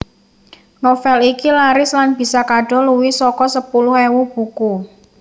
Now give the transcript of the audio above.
Novel iki laris lan bisa kadol luwih saka sepuluh ewu buku